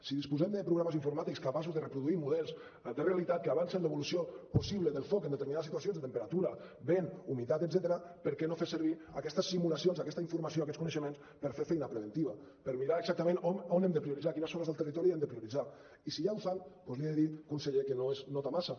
si disposem de programes informàtics capaços de reproduir models de realitat que avancen l’evolució possible del foc en determinades situacions de temperatura vent humitat etcètera per què no fer servir aquestes simulacions aquesta informació aquests coneixements per fer feina preventiva per mirar exactament on hem de prioritzar quines zones del territori hem de prioritzar i si ja ho fan doncs li he de dir conseller que no es nota massa